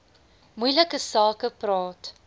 moeilike sake praat